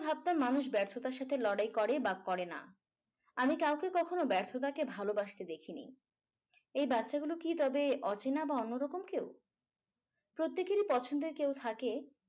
ভাবতাম মানুষ ব্যর্থতার সাথে লড়াই করে বা করে না আমি কাউকে কখনো ব্যর্থতাকে ভালোবাসতে দেখিনি এই বাচ্চাগুলো কি তবে অচেনা বা অন্যরকম কেউ প্রত্যেকেরই পছন্দের কেউ থাকে